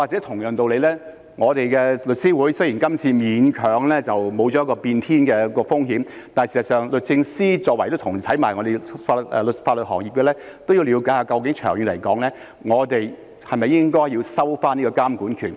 同樣道理，雖然我們的律師會這次勉強地沒有變天的風險，但事實上，律政司在同一個法律行業，其實也要了解一下究竟長遠而言，我們是否應該收回監管權。